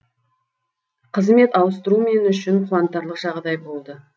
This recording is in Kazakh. қызмет ауыстыру мен үшін қуантарлық жағдай болды